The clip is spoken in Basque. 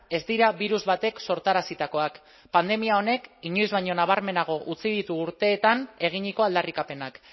ez dira birus batek sortarazitakoak pandemia honek inoiz baino nabarmenago utzi ditu urteetan eginiko aldarrikapenak